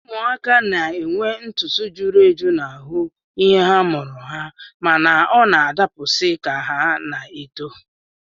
Ụmụaka na-enwe ntụtụ juru eju n'ahụ ihe a mụrụ ha mana ọ na-adapụsị ka ha na-eto